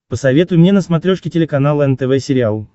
посоветуй мне на смотрешке телеканал нтв сериал